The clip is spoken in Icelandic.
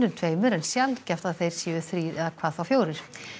tveimur en sjaldgæft að þeir séu þrír og hvað þá fjórir